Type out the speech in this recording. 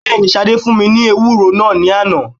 Bẹ́ẹ̀ ni, Ṣadé fún mi ni ewúro náà ní àná.